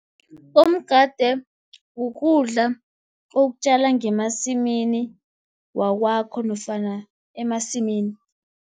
Umgade kukudla okutjala ngemasimini wakwakho, nofana emasimini.